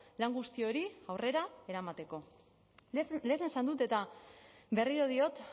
lan guzti hori aurrera eramateko lehen esan dut eta berriro diot